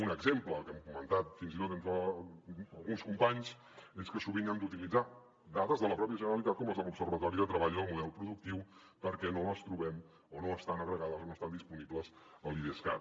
un exemple que hem comentat fins i tot entre alguns companys és que sovint hem d’utilitzar dades de la pròpia generalitat com les de l’observatori de treball i model productiu perquè no les trobem o no estan agregades o no estan disponibles a l’idescat